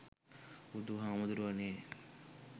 බුදු හාමුදුරුවනේ